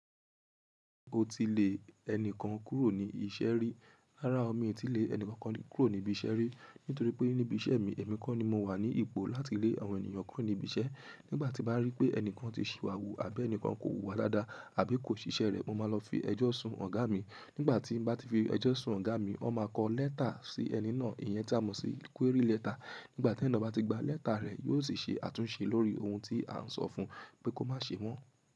O ti lè ẹni kan kúrò ní iṣẹ́ rí. Rárá o mi ò tí lè ẹni kankan kúrò níbi iṣẹ́ rí, nítorí pé níbi iṣẹ́ mi, èmi kọ́ ni mo wà ní ipò láti lé àwọn ènìyàn kúrò níbi iṣẹ́. Nígbà tí mo bá rí pé ẹni kan ti ṣìwà wù àbí ẹni kan kò hùwà dáadáa àbí kò ṣiṣẹ́ rẹ̀, mo máa lọ fi ẹjọ́ sún ọ̀gá mi. Nígbà tí mo bá ti fi ẹjọ́ sún ọ̀gá mi, ó máa kọ lẹ́tà sí ẹni náà. Iyẹn tá a mọ̀ sí query lẹ́tà. Nígbà tí ẹni náà bá ti gba lẹ́tà rẹ̀, yóò sì ṣe àtúnṣe lórí ohun tí a ń sọ fun pé kó má ṣe mọ́.